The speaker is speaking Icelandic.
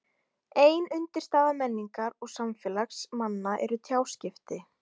Ein undirstaða menningar og samfélags manna eru tjáskipti.